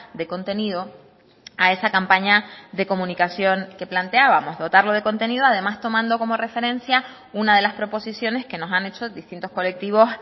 de contenido a esa campaña de comunicación que planteábamos dotarlo de contenido además tomando como referencia una de las proposiciones que nos han hecho distintos colectivos